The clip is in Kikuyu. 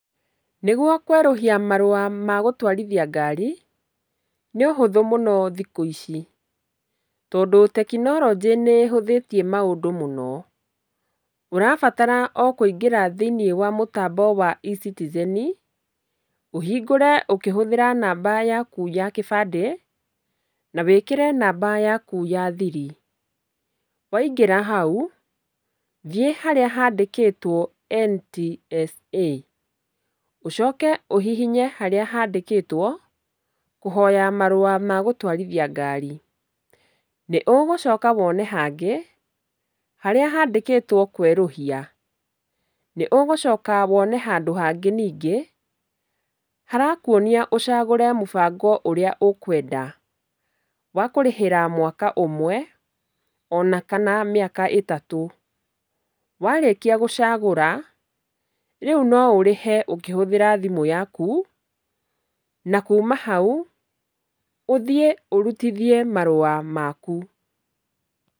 Nĩguo kwerũhia marũa magaũtwarithia ngari, nĩ ũhũthũ mũno thikũ ici, tondũ tekinoronjĩ nĩ ĩhũthĩtie maũndũ mũno, ũrabatara o kũingĩra thĩinĩ wa mũtambo wa E-citizen, ũhingũre ũkĩhũthĩra namba yaku ya gĩbandĩ, na wĩkĩre namba yaku ya thiri. Waingĩra hau, thiĩ harĩa handĩkĩtwo NTSA, ũcoke ũhihinye harĩa handĩkĩtwo kũhoya marũa magũtwarithia ngaari, nĩ ũgũcoka wone hangĩ, harĩa handĩkĩtwo kwerũhia, nĩ ũgũcoka wone handũ hangĩ ningĩ, harakuonia ũcagũre mũbango ũrĩa ũkwenda, wa kũrĩhĩra mwaka ũmwe, ona kana mĩaka ĩtatũ, warĩkia gũcagũra, rĩu no ũrĩhe ũkĩhũthĩra thimũ yaku, na kuma hau, ũthiĩ ũrutithie marũa maku.